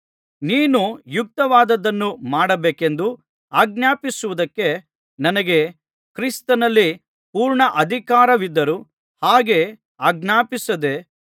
ನೀನು ಯುಕ್ತವಾದದ್ದನ್ನು ಮಾಡಬೇಕೆಂದು ಆಜ್ಞಾಪಿಸುವುದಕ್ಕೆ ನನಗೆ ಕ್ರಿಸ್ತನಲ್ಲಿ ಪೂರ್ಣ ಅಧಿಕಾರವಿದ್ದರೂ ಹಾಗೆ ಆಜ್ಞಾಪಿಸದೇ